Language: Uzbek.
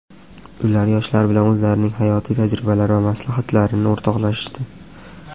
ular yoshlar bilan o‘zlarining hayotiy tajribalari va maslahatlarini o‘rtoqlashishdi.